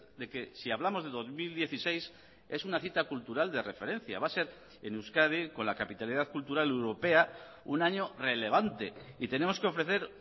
de que si hablamos de dos mil dieciséis es una cita cultural de referencia va a ser en euskadi con la capitalidad cultural europea un año relevante y tenemos que ofrecer